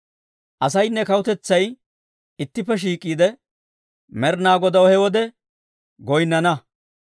Asaynne kawutetsay ittippe shiik'iide, Med'inaa Godaw he wode goyinnana.